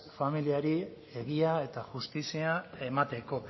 familiari egia eta justizia emateko